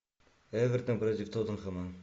эвертон против тоттенхэма